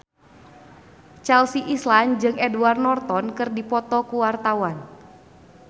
Chelsea Islan jeung Edward Norton keur dipoto ku wartawan